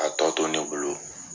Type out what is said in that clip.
A tɔ to ne bolo.